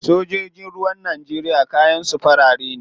Sojojin ruwan Najeriya kayan su fari ne.